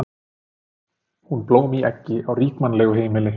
Hún blóm í eggi á ríkmannlegu heimili.